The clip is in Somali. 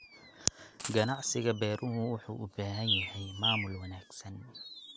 Ganacsiga beeruhu wuxuu u baahan yahay maamul wanaagsan.